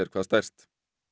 hvað stærst